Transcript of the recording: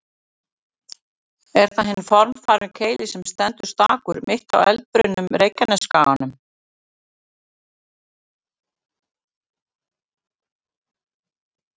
Er það hinn formfagri Keilir sem stendur stakur, mitt á eldbrunnum Reykjanesskaganum.